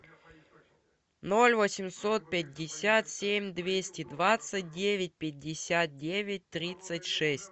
ноль восемьсот пятьдесят семь двести двадцать девять пятьдесят девять тридцать шесть